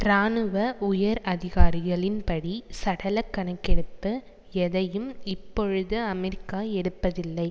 இராணுவ உயர் அதிகாரிகளின்படி சடலக் கணக்கெடுப்பு எதையும் இப்பொழுது அமெரிக்கா எடுப்பதில்லை